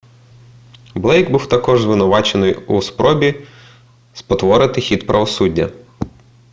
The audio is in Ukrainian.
блейк був також звинувачений у спробі спотворити хід правосуддя